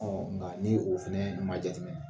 Ɔ nka ni o fana ma ma jateminɛ